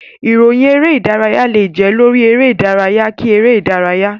Ìròyìn eré-ìdárayá lè jẹ́ lórí eré-ìdárayá kí eré-ìdárayá.